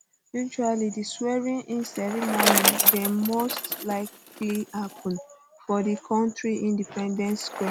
usually di swearing in ceremony dey most likely happun for di kontri independence square